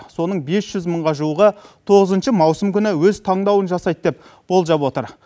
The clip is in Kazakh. соның бес жүз мыңға жуығы тоғызыншы маусым күні өз таңдауын жасайды деп болжап отыр